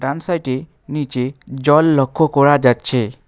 ডান সাইটে নীচে জল লক্ষ্য করা যাচ্ছে।